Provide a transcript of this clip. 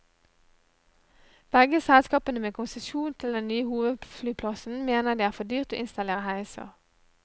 Begge selskapene med konsesjon til den nye hovedflyplassen mener det er for dyrt å installere heiser.